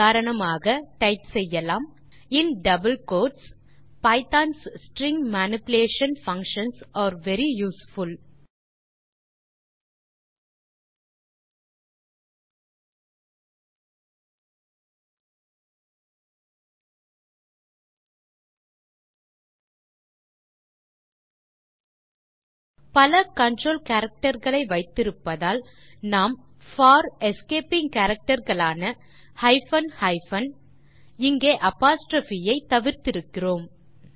உதாரணமாக நீங்கள் டைப் செய்யலாம் in double quotes Python's string manipulation functions are very useful பல கன்ட்ரோல் கேரக்டர் களை வைத்திருப்பதால் நாம் போர் எஸ்கேப்பிங் கேரக்டர் களான ஹைபன் ஹைபன் இங்கே அப்போஸ்ட்ரோப் ஐ தவிர்த்திருக்கிறோம்